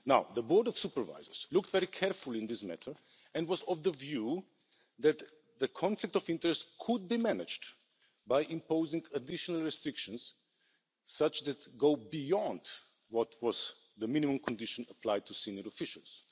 The Board of Supervisors looked very carefully into this matter and was of the view that the conflict of interest could be managed by imposing additional restrictions, such that go beyond the minimum condition applied to senior officials.